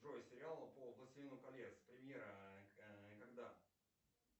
джой сериал по властелину колец премьера когда